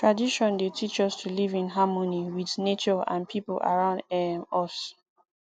tradition dey teach us to live in harmony with nature and people around um us